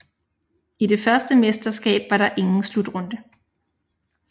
I det første mesterskab var der ingen slutrunde